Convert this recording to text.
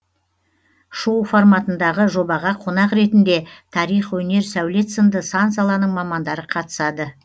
шоу форматындағы жобаға қонақ ретінде тарих өнер сәулет сынды сан саланың мамандары қатысады